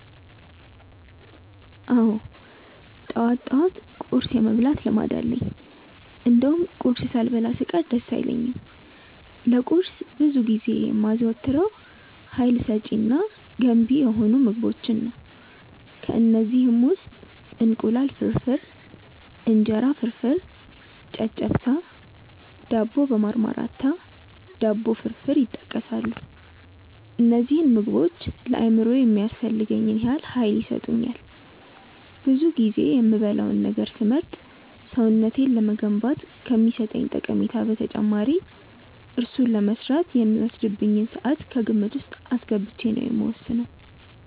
አዎ ጠዋት ጠዋት ቁርስ የመብላት ልምድ አለኝ እንደውም ቁርስ ሳልበላ ስቀር ደስ አይለኝም። ለቁርስ ብዙ ጊዜ የማዘወትረው ሀይል ሰጪ እና ገንቢ የሆኑ ምግቦችን ነው። ከእነዚህም ውስጥ እንቁላል ፍርፍር፣ እንጀራ ፍርፍር፣ ጨጨብሳ፣ ዳቦ በማርማራታ፣ ዳቦ ፍርፍር ይጠቀሳሉ። እነዚህ ምግቦች ለአእምሮዬ የሚያስፈልገኝን ያህል ሀይል ይሰጡኛል። ብዙ ጊዜ የምበላውን ነገር ስመርጥ ሰውነቴን ለመገንባት ከሚሰጠኝ ጠቀሜታ በተጨማሪ እሱን ለመስራት የሚወስድብኝን ስዓት ከግምት ውስጥ አስገብቼ ነው የምወስነው።